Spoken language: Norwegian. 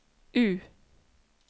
U